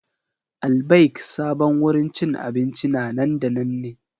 Al-Baik sabon wurin cin abinci na nan da nan ne.